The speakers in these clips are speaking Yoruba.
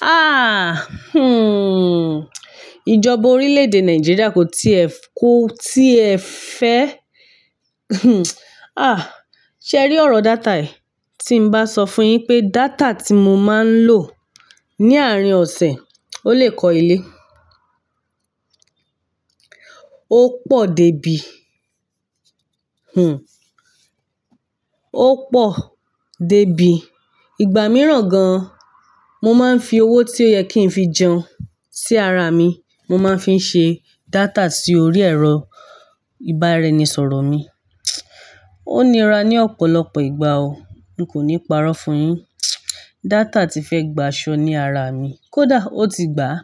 Ah! Hmm. Ìjọba orílẹ̀ èdè Nàìjíríà kò tíì ẹ ko tíì ẹ fẹ́. Hmm. Ah! Sẹ́rí ọ̀rọ̀ data yi Tí n bá sọ fún yín pé data tí mo máa ń lò ní àárín ọ̀sẹ̀ ó lè kọ ilé. Ó pọ̀ dé bí, hmm, ó pọ̀ dé bí, ìgbà mìíràn gan mo máa ń fi owó tí ó yẹ kí n fi jẹun sí ara mi, mo máa ń fi ṣe data sí orí ẹ̀rọ ìbánisọ̀rọ̀ mi. Ó nira ní ọ̀pọ̀lọpọ̀ ìgbà o. N kò ní parọ́ fún yín, data ti fẹ́ gba aṣọ ní ara mi, kódà ó ti gbáa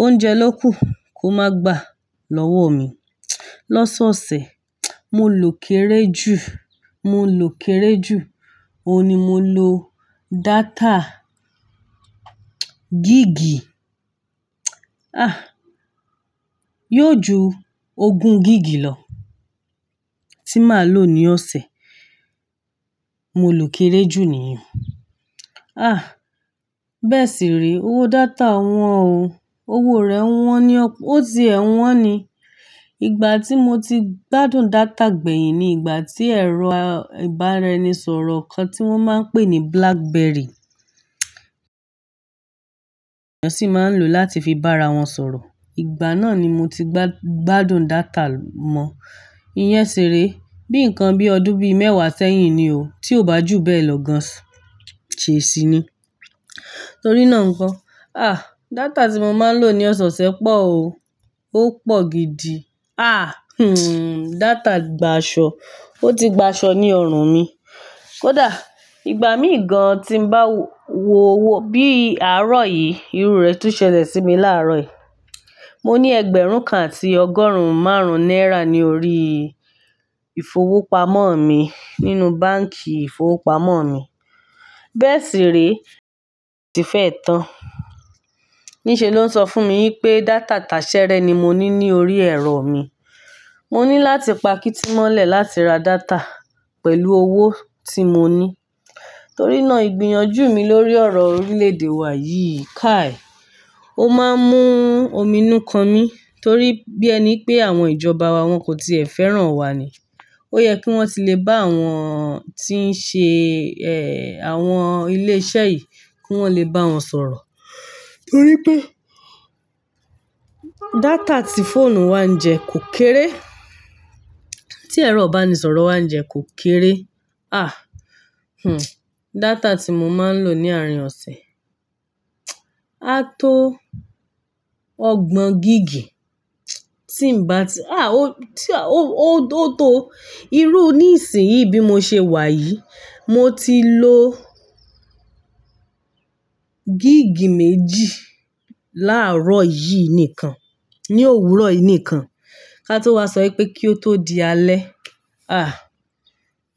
Oúnjẹ ló kù kó máa gbà lọ́wọ́ mi lọ́sọ̀ọ̀sẹ̀. Mo lò kéré jù, mo lò kéré jù, òun ni mo lò data. Gigì, ah! Yóò ju ogún gigì lọ tí màá lò ní ọ̀sẹ̀. Mo lò kéré jù nìyẹn. Ah! Bẹ́ẹ̀ sì re, owó data wọn ò, owó rẹ̀ wọn ni ó ti ẹ wọn ni. Ìgbà tí mo ti gbádùn data gbẹ̀yìn ni ìgbà tí ẹ̀rọ ìbára eni sọ̀rọ̀ kan tí wọ́n máa ń pè ní Blackberry, èèyàn sì máa ń lò láti fi bá ra wọn sọ̀rọ̀. Ìgbà náà ni mo ti gbádùn data mọ. I yen ṣi ré. Bí nǹkan bí ọdún bí mẹ́wàá sẹ́yìn ni o. Tí ò bá jù bẹ́ẹ̀ lọ gan, ṣé ẹ ṣì ni? Torí náà nǹkan. Ah! Data tí mo máa ń lò ní ọ̀so sẹ̀ pọ̀ o. Ó pọ̀ gidi. Ah! Hmm. Data gba aṣọ, ó ti gba aṣọ ní ọrùn mi. Kódà ìgbà mí gan tí n bá wò bí àárọ̀ yìí, irú rẹ̀ tún ṣẹlẹ̀ sí mi láàárọ̀ yìí. Mo ní ẹgbẹ̀rún kan àti ọgọ́rùn-ún márùn-ún náírà ní orí ìfowópamọ́ mi nínú báǹkì ìfowópamọ́ mi. Bẹ́ẹ̀ sì rí, ti fẹ́ ẹ tán. Níṣe ló ń sọ fún mi wí pé data tasẹ́rẹ́ ni mo ní ní orí ẹ̀rọ mi. Mo ní láti pa kítímọ́lẹ̀ láti ra data pẹ̀lú owó tí mo ní. Torí náà ìgbìyànjú mi lórí ọ̀rọ̀ orílẹ̀ èdè wa yìí kàí. Ó máa ń mú omi inú kan mí torí bí ẹ ni pé àwọn ìjọba wa wọn kò tíì ẹ fẹ́ràn wa ni. Ó yẹ kí wọ́n ti lè bá àwọn tí ń ṣe, ẹ, àwọn ilé iṣẹ́ yìí kí wọ́n lè bá wọn sọ̀rọ̀. Torí pé data tí fóònù wa ń jẹ kò kéré. Tí ẹ̀rọ ìbánisọ̀rọ̀ wa ń jẹ kò kéré. Ah! Hmm. Data tí mo máa ń lò ní àárín ọ̀sẹ̀, a tó ọgbọ̀n gigì. Tí n bá ti, ah! Ó, tí a, ó, ó to irú ní ìsìn yìí bí mo ṣe wà yìí, mo ti lò gigì méjì láàárọ̀ yìí nìkan, ní òwúrọ̀ yìí nìkan. Ká tó wá sọ wipé kí ó tó di alẹ́. Ah!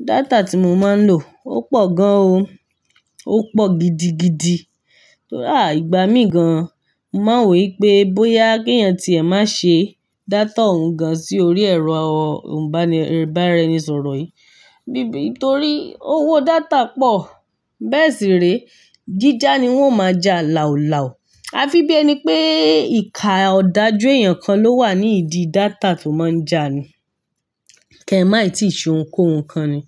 Data tí mo máa ń lò ó pọ̀ gan o. Ó pọ̀ gidigidi. Ah! Ìgbà mí gan mo máa ń wò wípé bóyá kí èèyàn tí ẹ má ṣe data òun gan sí orí ẹ̀rọ ìbánisọ̀rọ̀ yìí. Bí bí torí owó data pọ̀. Bẹ́ẹ̀ sì re, jíjà ni wọ́n o máa jà làúlàú. A fi bí ẹni pé ìka ọ̀dájú èèyàn kan ló wà ní ìdí data tó máa ń jà ni. Kẹ́míà tíì ṣe ohunkóhun kan ni.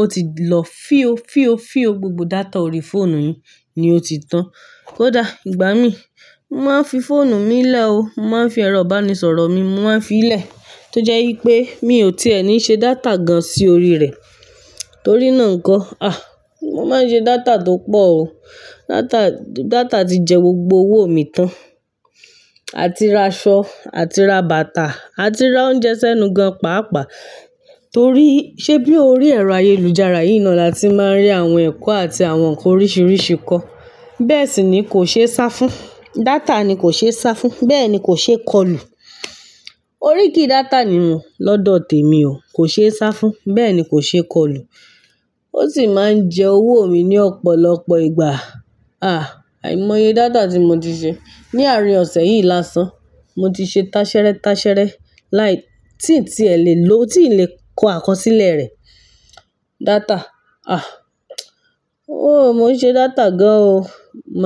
Ó ti lọ fío, fío, fío gbogbo data orí fóònù yun ni ó ti tán. Kódà ìgbà mí, mo máa ń fi fóònù mi lẹ́ o. Mo máa ń fi ẹ̀rọ ìbánisọ̀rọ̀ mi mo máa ń fi í lẹ̀. Tó jẹ́ wípé mi ò tí è ní ṣe data gan sí orí rẹ̀. Torí náà nǹkan. Ah! Mo máa ń ṣe data tó pọ̀ o. Data, data ti jẹ gbogbo owó mi tán. À ti ra aṣọ, à ti ra bàtà, à ti ra oúnjẹ sẹ́nu gan pàápàá. Torí sé bí ó rí ẹ̀rọ ayélujára yìí naa la tí màá rí àwọn ẹ̀kọ́ àti àwọn nǹkan oríṣìíríṣìí kọ́. Bẹ́ẹ̀ sì ni kò ṣe é sá fún. Data ni kò ṣe é sá fún. Bẹ́ẹ̀ ni kò ṣee kọlù. Orí kìí data ni mòó lọ́dọ̀ tèmi o. Kò ṣe é sá fún. Bẹ́ẹ̀ ni kò ṣe é kọlù. Ó sì máa ń jẹ owó mi ní ọ̀pọ̀lọpọ̀ ìgbà. Ah! Àìmọye data tí mo ti ṣe ní àárín ọ̀sẹ̀ yìí lásán. Mo ti ṣe tasẹ́rẹ́ tasẹ́rẹ́ láì tí tí è lè lo, tí n lè kó àkọsílẹ̀ rẹ̀. Data. Ah! Oh, mo ń ṣe data gan o. Mo.